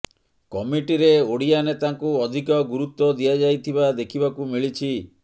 କମିଟିରେ ଓଡ଼ିଆ ନେତାଙ୍କୁ ଅଧିକ ଗୁରୁତ୍ୱ ଦିଆଯାଇଥିବା ଦେଖିବାକୁ ମିଳିଛି